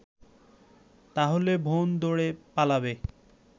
তাহলে বোন দৌড়ে পালাবে